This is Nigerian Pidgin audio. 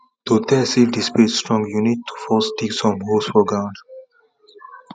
to test if the spade strong you need to first dig some holes for ground